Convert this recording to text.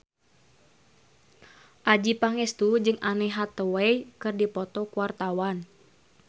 Adjie Pangestu jeung Anne Hathaway keur dipoto ku wartawan